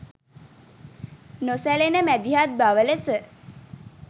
නොසැලෙන මැදිහත් බව ලෙස